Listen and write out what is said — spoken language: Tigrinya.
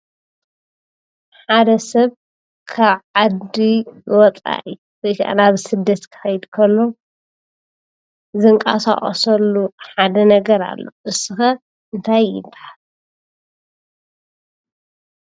ሓደ ሰብ ካብ ዓዲ ወፃኢ ናብ ስደት ክኸድ ከሎ ዝንቀሳቐሰሉ ሓደ ነገር ኣሎ፡፡ ንሱ ኸ እንታይ ይበሃል?